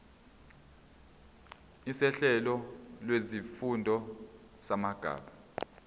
sohlelo lwezifundo samabanga